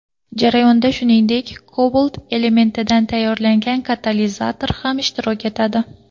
Jarayonda, shuningdek, kobalt elementidan tayyorlangan katalizator ham ishtirok etadi.